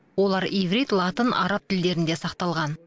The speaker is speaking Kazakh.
олар иврит латын араб тілдерінде сақталған